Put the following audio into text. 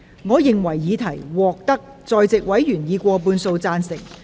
我認為議題獲得在席委員以過半數贊成。